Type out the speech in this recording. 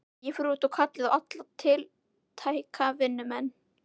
Ég fór út og kallaði á alla tiltæka vinnumenn.